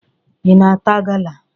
Ị na-ata gala?